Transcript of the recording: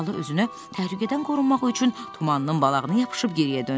Xala özünü təhlükədən qorunmaq üçün tumanının balağını yapışıb geriyə döndü.